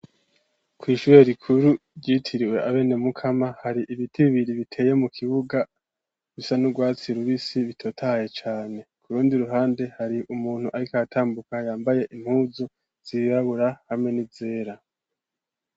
Kw'ishure rikuru ryitiriwe abene Mukama ,hari ibiti bibiri biteye mukibuga bisa n'ugwatsi rubisi bitotahaye cane , kurundi ruhande hari umuntu arik'aratambuka yambaye impuzu zirabura hamwe n'izera.